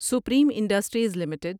supreme industries limited